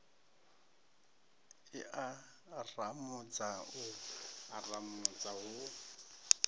i aramudza u haramudza hu